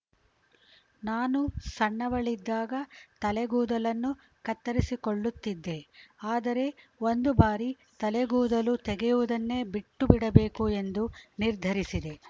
ನಾನು ಸಣ್ಣವಳಿದ್ದಾಗ ತಲೆಗೂದಲನ್ನು ಕತ್ತರಿಸಿಕೊಳ್ಳುತ್ತಿದ್ದೆ ಆದರೆ ಒಂದು ಬಾರಿ ತಲೆಗೂದಲು ತೆಗೆಯುವುದನ್ನೇ ಬಿಟ್ಟುಬಿಡಬೇಕು ಎಂದು ನಿರ್ಧರಿಸಿದೆ